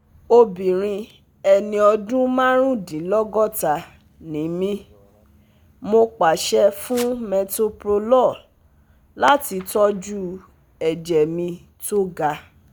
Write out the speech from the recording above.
Obìnrin ẹni ọdún márùndínlọ́gọ́ta ni mí, mo pàṣẹ fún Metoprolol láti tọ́jú ẹ̀jẹ̀ mi tó ga